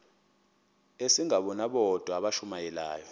asingabo bodwa abashumayeli